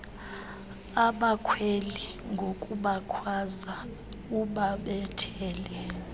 abakhweli ngokubakhwaza ubabethele